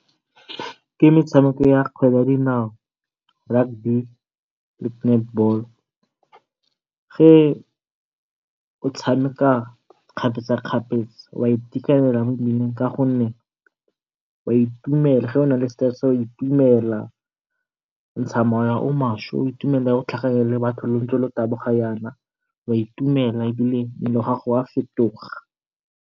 Ke metshameko ya kgwele ya dinao, rugby le netball. Ge o tshameka kgapetsakgapetsa o a itekanela mo mmeleng ka gonne o a itumela ge o nale stress wa itumela, o ntsha mowa o maswe o itumelela ha ntse o tlhakane le batho lo ntse lo taboga yana wa itumela ebile mmele wa gago wa fetoga.